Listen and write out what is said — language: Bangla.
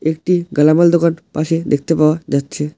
একটি দোকান পাশে দেখতে পাওয়া যাচ্ছে।